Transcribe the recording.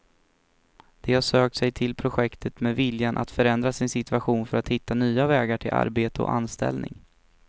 De har sökt sig till projektet med viljan att förändra sin situation för att hitta nya vägar till arbete och anställning.